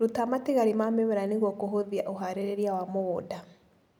Ruta matigari ma mĩmera nĩguo kũhũthia ũharĩria wa mũgunda.